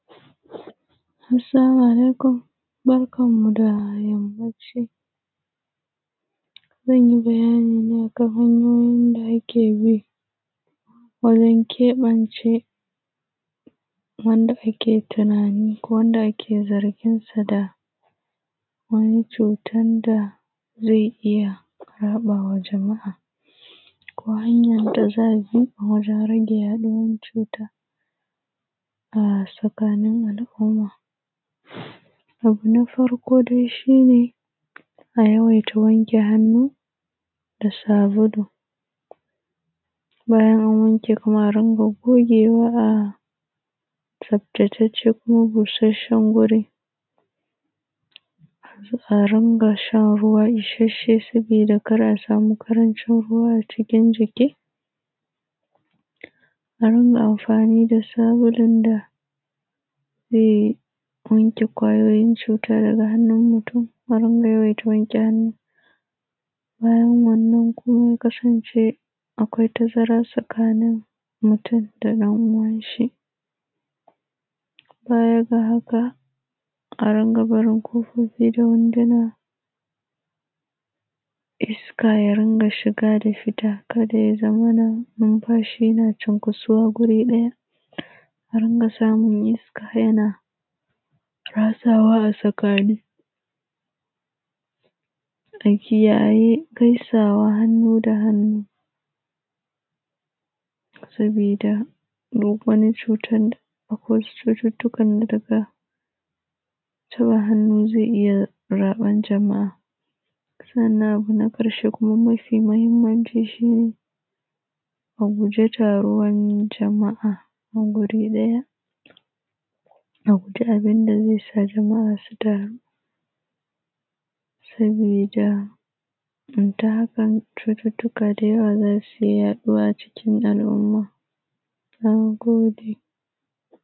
Assalamu alaikum barkanmu da yammanci zanyi bayani kan hanyoyin da akebi wajen wajen keɓance wanda ake zarginsu da wani cutanda zai iyya yaɗawa jama’a. Ko hanyan da za’abi wajen yaɗuwar cuta a tsakanin al’umma. Abu na farko dai shine a yawaita wanke hannu da sabulu bayan anwanke a rinƙa gogewa a tsaftataccen ko gogaggen wuri. A rinkashan ruwa isasshe saboda kar a rinka samun karancin ruwa a cikin jiki. A rinka amfani da sabulun da zai wanke kwayoyin cuta daga hannun mutun a rinka yawaita wanke hannu. Bayan wanna kuma akwai tazara tsakanin mutun da ɗan uwanshi, baya ga haka a rinka barin kofofi da wuduna iska ya rinka shiga da fita kada ya zamana numfashi na cunkusuwa guri ɗaya I rinka samun iska yana ratsawa a tsakani. A kiyayi gaisawa hannu da hannu sabida akwai cututtukan da daga zuwa hannu zai iyya raɓan jama’a. sannan abu na ƙarshe kuma mafi mahimmanci aguji taruwan jama’a a guri ɗaya. A guji abinda zaisa jama’a su taru, cututtuka da yawa zasu yaɗu a cikin al’umma. Nagode